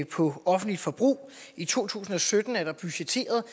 på offentligt forbrug i to tusind og sytten er der budgetteret